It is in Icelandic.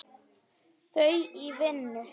Þau í vinnu.